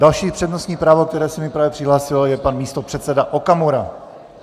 Další přednostní právo, které se mi právě přihlásilo, je pan místopředseda Okamura.